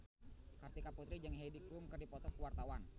Kartika Putri jeung Heidi Klum keur dipoto ku wartawan